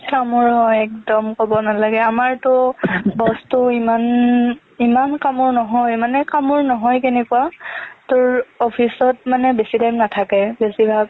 কামোৰ হয় একদম ক'ব নালাগে আমাৰতো boss টো ইমান ইমান কামোৰো নহয় মানে কামোৰ নহয় কেনেকুৱা তোৰ office ত মানে বেছি time নাথাকে বেছিভাগ